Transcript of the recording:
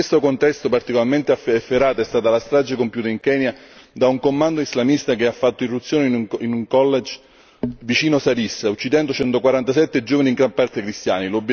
In questo contesto particolarmente efferata è stata la strage compiuta in Kenya da un commando islamista che fatto irruzione in un college vicino Garissa, uccidendo 147 giovani in gran parte cristiani.